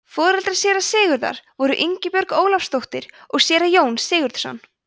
foreldrar séra sigurðar voru ingibjörg ólafsdóttir og séra jón sigurðsson